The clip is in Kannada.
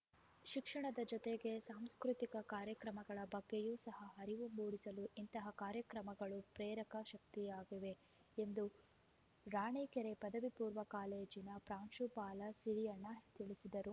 ಶಿಕ್ಷಣದ ಜೊತೆಗೆ ಸಾಂಸ್ಕೃತಿಕ ಕಾರ್ಯಕ್ರಮಗಳ ಬಗ್ಗೆಯೂ ಸಹ ಅರಿವು ಮೂಡಿಸಲು ಇಂತಹ ಕಾರ್ಯಕ್ರಮಗಳು ಪ್ರೇರಕ ಶಕ್ತಿಯಾಗಿವೆ ಎಂದು ರಾಣಿಕೆರೆ ಪದವಿ ಪೂರ್ವ ಕಾಲೇಜಿನ ಪ್ರಾಂಶುಪಾಲ ಸಿರಿಯಣ್ಣ ತಿಳಿಸಿದರು